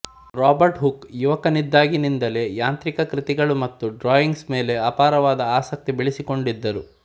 Robert Hooke ಯುವಕನಿದ್ದಾಗಿನಿಂದಲೇ ಯಾಂತ್ರಿಕ ಕೃತಿಗಳು ಮತ್ತು ಡ್ರಾಯಿಂಗ್ಸ್ ಮೇಲೆ ಅಪಾರವಾದ ಆಸಕ್ತಿ ಬೆಳೆಸಿಕೊಂಡೀದ್ದರು